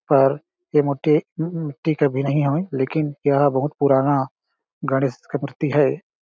पर ये मुट्ठी मिट्टी के भी नहीं हवय लेकिन यह बहुत पुराना गणेश के मूर्ति हैं ।